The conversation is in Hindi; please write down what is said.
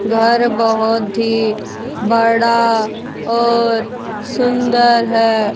घर बहोत ही बड़ा और सुंदर है।